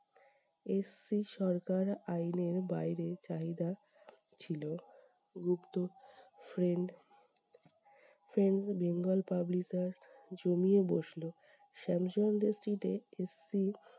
SC সরকার আইনের বাইরে চাহিদা ছিল। Gupta friend friends Bengal publishers জমিয়ে বসল। শ্যামচন্দ্র street এ SC